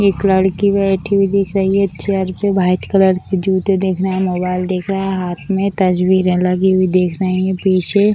एक लड़की बैठी हुई दिख रही है चेयर पे वाइट कलर की जुते दिख रहे हैं मोबाइल दिख रहे हैं हाथ में तस्वीरें लगी हुई दिख रही है पीछे।